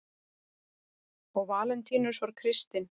og valentínus var kristinn